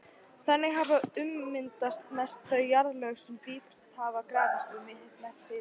Þannig hafa ummyndast mest þau jarðlög sem dýpst hafa grafist og mest hitnað.